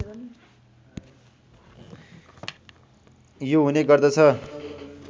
यो हुने गर्दछ